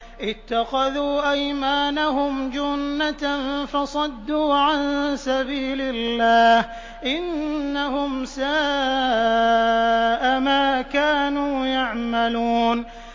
اتَّخَذُوا أَيْمَانَهُمْ جُنَّةً فَصَدُّوا عَن سَبِيلِ اللَّهِ ۚ إِنَّهُمْ سَاءَ مَا كَانُوا يَعْمَلُونَ